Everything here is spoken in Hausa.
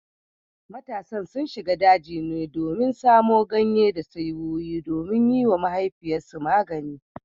Matasan sun shiga daji ne domin samo ganye da saiwoyi domin yiwa mahaifiyarsu magani